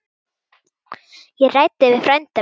Ég ræddi við frænda minn.